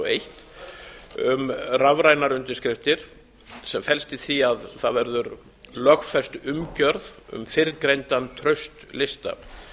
eitt um rafrænar undirskriftir sem felst í því að það verður lögfest umgjörð um fyrrgreindan traustlista